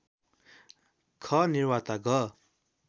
ख निवार्ता ग